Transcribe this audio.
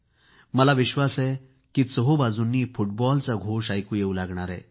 मला विश्वास आहे की चहुबाजूंनी फुटबॉलचा घोष ऐकू येवू लागणार आहे